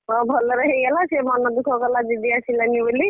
ହଁ ଭଲରେ ହେଇଗଲା ସେ ମନଦୁଃଖ କଲା ଦିଦି ଆସିଲାନି ବୋଲି।